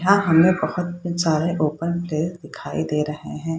यहाँ हमें बोहोत सारे ओपन प्लेयर दिखाई दे रहे हैं।